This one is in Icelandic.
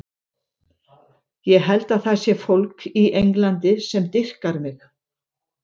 Ég held að það sé fólk í Englandi sem dýrkar mig.